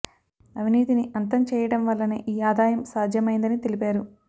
అవినీతిని అంతం చేయ డం వల్లనే ఈ ఆదాయం సాధ్యమైందని తెలిపారు